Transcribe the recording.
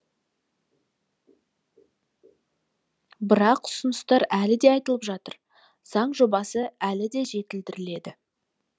бірақ ұсыныстар әлі де айтылып жатыр заң жобасы әлі де жетілдіріледі